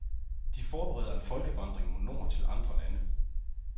De forbereder en folkevandring mod nord til andre lande.